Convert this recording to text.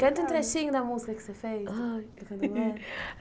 Canta um trechinho da música que você fez. Ai